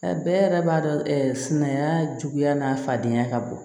A bɛɛ yɛrɛ b'a dɔn sumaya juguya n'a fadenya ka bon